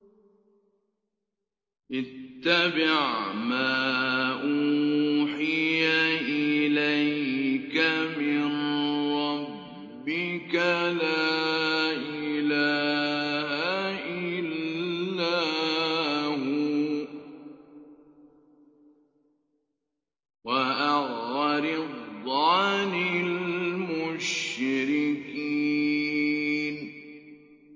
اتَّبِعْ مَا أُوحِيَ إِلَيْكَ مِن رَّبِّكَ ۖ لَا إِلَٰهَ إِلَّا هُوَ ۖ وَأَعْرِضْ عَنِ الْمُشْرِكِينَ